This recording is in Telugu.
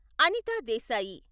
అనిత దేశాయి